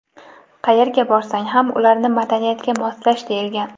qayerga borsang ham ularni madaniyatga moslash deyilgan.